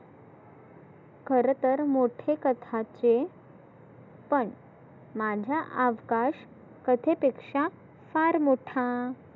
खरं तर मोठे कथाचे पण माझ्या आजकाश कथे पेक्षा फार मोठा.